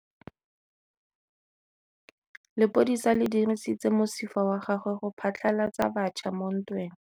Lepodisa le dirisitse mosifa wa gagwe go phatlalatsa batšha mo ntweng.